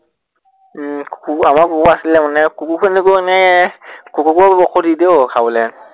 উম কুকুৰ আমাৰ কুকুৰ আছিলে মানে, কুকুৰখিনিকো মানে কুকুৰকো ঔষধ দি দিয়ে ঔ খাবলে।